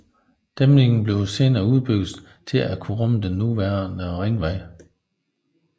Dæmningen blev senere udbygget til at kunne rumme den nuværende Ringvej